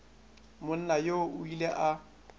monna yoo o ile a